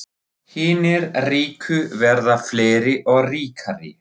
Hinir ríku verða fleiri og ríkari